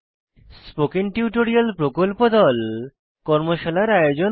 spoken tutorial প্রকল্প দল কর্মশালার আয়োজন করে